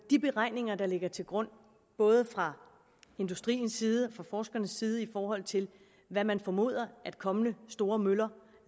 de beregninger der ligger til grund både fra industriens side og fra forskernes side i forhold til hvad man formoder kommende store møller